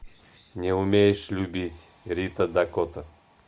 не умеешь любить рита дакота